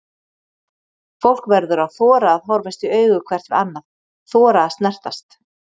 Fólk verður að þora að horfast í augu hvert við annað, þora að snertast.